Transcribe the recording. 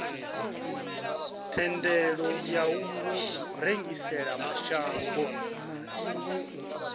thendelo ya u rengisela mashango